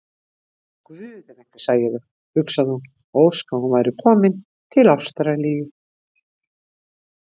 Guð, ef einhver sæi þau, hugsaði hún og óskaði að þau væru komin til Ástralíu.